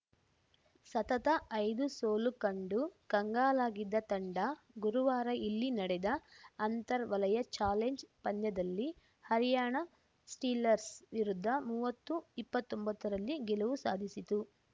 ಸತತ ಐದು ಸೋಲು ಕಂಡು ಕಂಗಲಾಗಿದ್ದ ತಂಡ ಗುರುವಾರ ಇಲ್ಲಿ ನಡೆದ ಅಂತರ್ ವಲಯ ಚಾಲೆಂಜ್‌ ಪಂದ್ಯದಲ್ಲಿ ಹರ್ಯಾಣ ಸ್ಟೀಲರ್ಸ್ ವಿರುದ್ಧ ಮೂವತ್ತುಇಪ್ಪತ್ತೊಂಬತ್ತರಲ್ಲಿ ಗೆಲುವು ಸಾಧಿಸಿತು